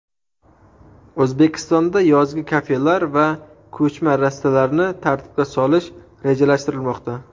O‘zbekistonda yozgi kafelar va ko‘chma rastalarni tartibga solish rejalashtirilmoqda.